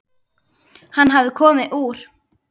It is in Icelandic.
Hann hafði komið úr